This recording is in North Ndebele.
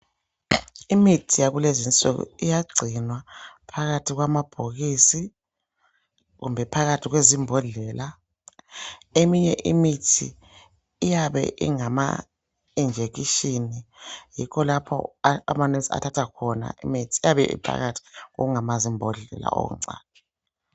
Imithi yakulezi nsuku iyagcinwa phakathi kwamabhokisi kumbe phakathi kwezimbodlela. Eminye imithi iyabe ingama injection yikho lapho a ama nurse athatha khona imithi iyabe iphakathi kokungama zimbodlela okuncane.